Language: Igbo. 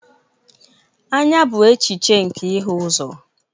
Anya bụ echiche nke ịhụ ụzọ